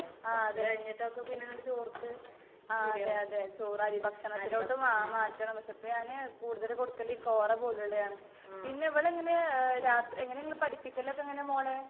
ആഹ് അതെ. ആഹ് അതെ അതെ. ചോറ് അരി ഭക്ഷണത്തിലോട്ട് മാ മാറ്റണം. പക്ഷെ ഞാന് കൂടുതല് കൊടുക്കല് ഈ കോറ പോലുള്ളതാണ്. പിന്നെ ഇവള് എങ്ങനാ ഏഹ് രാത്രി എങ്ങനാ നിങ്ങള് പഠിപ്പിക്കലൊക്കെ എങ്ങനാ മോളെ?